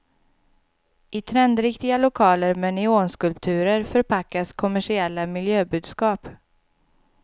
I trendriktiga lokaler med neonskulpturer förpackas kommersiella miljöbudskap.